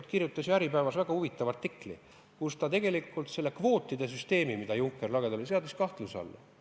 Ta kirjutas väga huvitava artikli, kus ta seadis selle kvootide süsteemi, millega Juncker lagedale tuli, kahtluse alla.